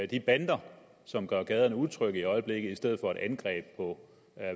de bander som gør gaderne utrygge i øjeblikket i stedet for et angreb på